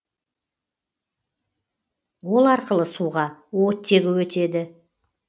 ол арқылы суға оттегі өтеді